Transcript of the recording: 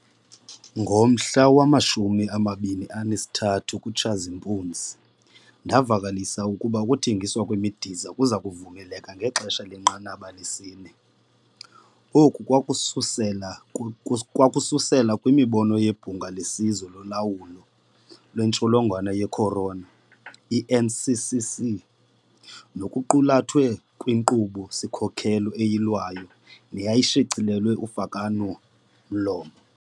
Ngomhla wama-23 kuTshazimpuzi, ndavakalisa ukuba ukuthengiswa kwemidiza kuza kuvumeleka ngexesha lenqanaba lesi-4. Oko kwakususela kwimibono yeBhunga leSizwe loLawulo lweNtsholongwane ye-Corona i-NCCC, nokwakuqulathwe kwinkqubo-sikhokelo eyilwayo neyayishicilelelwe ufakwano-mlomo.